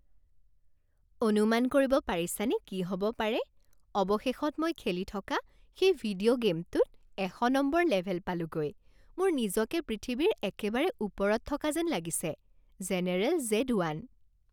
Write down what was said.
অনুমান কৰিব পাৰিছানে কি হ'ব পাৰে? অৱশেষত মই খেলি থকা সেই ভিডিঅ' গে'মটোত এশ নম্বৰ লেভেল পালোগৈ! মোৰ নিজকে পৃথিৱীৰ একেবাৰে ওপৰত থকা যেন লাগিছে। General Z one